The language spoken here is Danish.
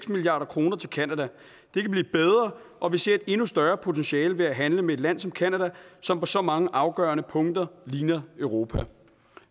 milliard kroner til canada det kan blive bedre og vi ser et endnu større potentiale ved at handle med et land som canada som på så mange afgørende punkter ligner europa